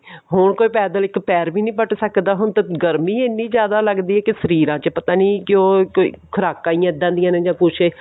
ਹੋਰ ਕੋਈ ਪੈਦਲ ਇੱਕ ਪੈਰ ਵੀ ਨਹੀਂ ਪੱਟ ਸਕਦਾ ਹੁਣ ਤਾਂ ਗਰਮੀ ਇਹਨੀਂ ਜਿਆਦਾ ਲਗਦੀ ਐ ਕਿ ਸਰੀਰਾਂ ਚ ਪਤਾ ਨਹੀਂ ਕਿਉਂ ਕੋਈ ਖੁਰਾਕਾ ਹੀ ਏਦਾਂ ਦੀਆਂ ਨੇ ਜਾ ਕੁੱਛ